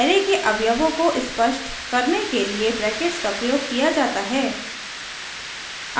array के अवयवों को स्पष्ट करने के लिए ब्रैकेट्स का प्रयोग किया जाता है